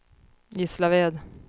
Gislaved